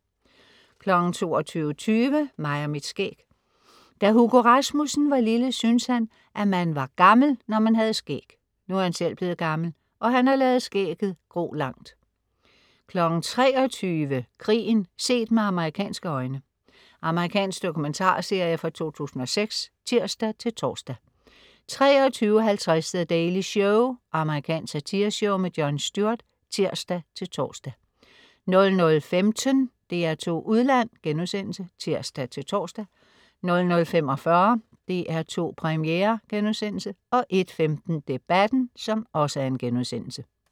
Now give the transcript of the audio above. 22.20 Mig og mit skæg. Da Hugo Rasmussen var lille synes han at man var gammel når man havde skæg. Nu er han selv blevet gammel og han har ladet skægget gro langt 23.00 Krigen set med amerikanske øjne. Amerikansk dokumentarserie fra 2006 (tirs-tors) 23.50 The Daily Show. Amerikansk satireshow. Jon Stewart (tirs-tors) 00.15 DR2 Udland* (tirs-tors) 00.45 DR2 Premiere* 01.15 Debatten*